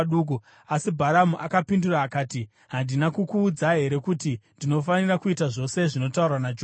Asi Bharamu akapindura akati, “Handina kukuudza here kuti ndinofanira kuita zvose zvinotaurwa naJehovha?”